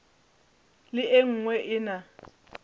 le e nngwe e na